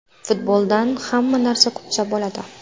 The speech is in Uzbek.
Futboldan hamma narsa kutsa bo‘ladi”.